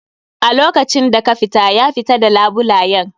A lokacin da ka fita, ya fita d labulayen.